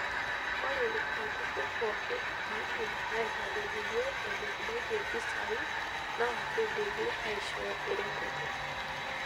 Ore olturrur pookin oidim aitadedeyie eneikunaitie mpisai naa keidimi aishoo eretoto.